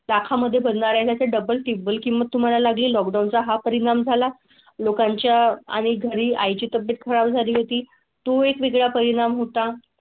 दाखा मध्ये बदलण्या चे डबल किंमत तुम्हाला लागली. लॉकडाऊन चा हा परिणाम झाला. लोकांच्या आणि घरी आई ची तब्येत खराब झाली होती. तू एक वेगळा परिणाम होता.